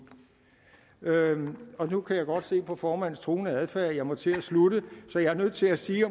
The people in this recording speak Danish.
nu kan jeg godt se på formandens truende adfærd at jeg må til at slutte så jeg er nødt til at sige